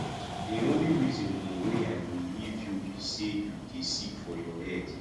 the only reason um wey i go leave you be say you dey sick for head